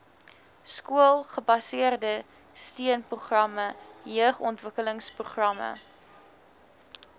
skoolgebaseerde steunprogramme jeugontwikkelingsprogramme